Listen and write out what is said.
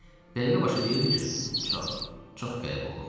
Dəqiqə başı deyirdi ki, çox, çox qəribə oğlansan.